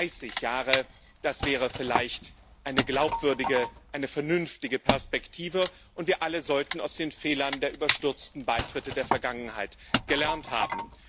Dreißig Jahre, das wäre vielleicht eine glaubwürdige, eine vernünftige Perspektive, und wir alle sollten aus den Fehlern der überstürzten Beitritte der Vergangenheit gelernt haben.